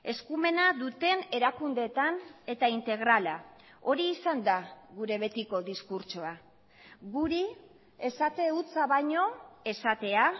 eskumena duten erakundeetan eta integrala hori izan da gure betiko diskurtsoa guri esate hutsa baino esatea